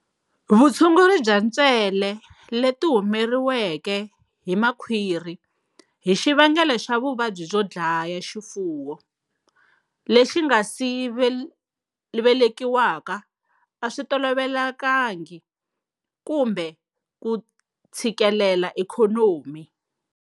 Vutshunguri bya ntswele leti humeriweke hi makhwiri hi xivangelo xa vuvabyi byo dlaya xifuwo lexi nga si velekiwaka a swi tolovelekangiki kumbe ku tshikilela ikhonomi.